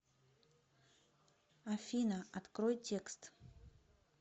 афина открой текст